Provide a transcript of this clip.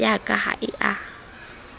ya ka ha e a